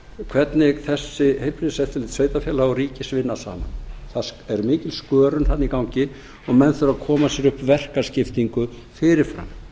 hvernig þessi heilbrigðiseftirlit sveitarfélaga og ríkis vinna saman það er mikil skörun þarna í gangi og menn þurfa að koma sér upp verkaskiptingu fyrir fram